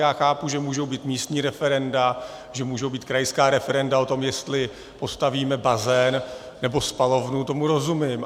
Já chápu, že můžou být místní referenda, že můžou být krajská referenda o tom, jestli postavíme bazén nebo spalovnu, tomu rozumím.